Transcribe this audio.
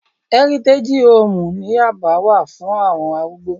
Ẹ́rítégí hoòmù ní yábà wà fún àwọn arúgbó